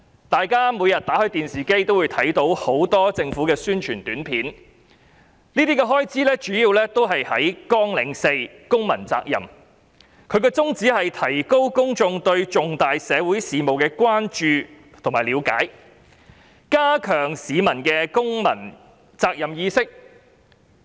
大家每天都會從電視看到很多政府宣傳短片，這些都是屬於綱領4公民責任下的開支，宗旨是提高公眾對重大社會事務的關注和了解，並加強他們的公民責任意識。